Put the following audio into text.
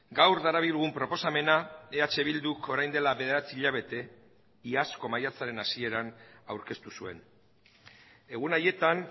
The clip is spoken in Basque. gaur darabilgun proposamena eh bilduk orain dela bederatzi hilabete iazko maiatzaren hasieran aurkeztu zuen egun haietan